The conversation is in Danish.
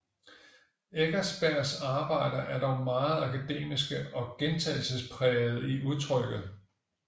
Eckersbergs arbejder er dog meget akademiske og gentagelsesprægede i udtrykket